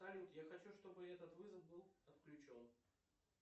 салют я хочу чтобы этот вызов был отключен